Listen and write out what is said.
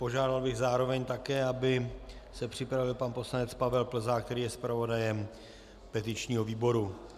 Požádal bych zároveň také, aby se připravil pan poslanec Pavel Plzák, který je zpravodajem petičního výboru.